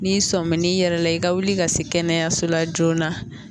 N'i sɔmin n'i yɛrɛ la i ka wuli ka se kɛnɛyaso la joona